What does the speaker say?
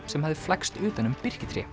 sem hafði flækst utan um birkitré